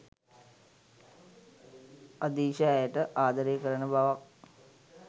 අදීශ ඇයට ආදරය කරන බවක්